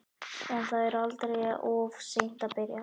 En það er aldrei of seint að byrja.